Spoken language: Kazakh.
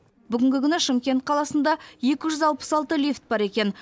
бүгінгі күні шымкент қаласында екі жүз алпыс алты лифт бар екен